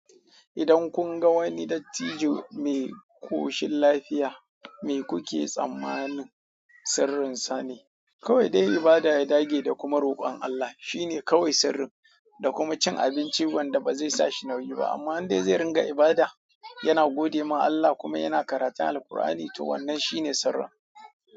Idan kun ga wani dattijo mai koshin lafiya, me kuke tsammanin sirrinsa ne? Kawai dai ibada, ya dage da kuma rokon Allah. Shi ne kawai sirrin. Da kuma cin abinci wanda ba zai sa shi nauyi ba. Amma in dai zai ringa ibada, yana gode ma Allah kuma yana karatun Alkur'ani, to wannan shi ne sirrin.